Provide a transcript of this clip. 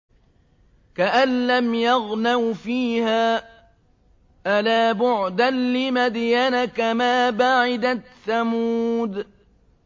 كَأَن لَّمْ يَغْنَوْا فِيهَا ۗ أَلَا بُعْدًا لِّمَدْيَنَ كَمَا بَعِدَتْ ثَمُودُ